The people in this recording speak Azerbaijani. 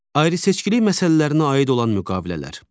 Ayrı-seçkilik məsələlərinə aid olan müqavilələr.